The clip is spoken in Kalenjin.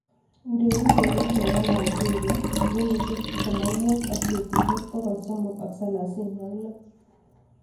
Mchezaji nebo nigeria kenyisiek tiptem ak mut ak betusiek poyol somok ak salasini ak loo